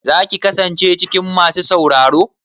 Za ki kasance cikin masu sauraro?